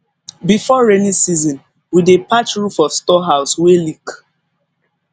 before rainy season we dey patch roof of storehouse wey leak